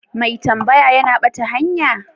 Mai tambaya ya na bata hanya?